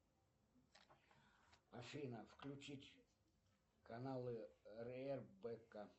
афина включить каналы рбк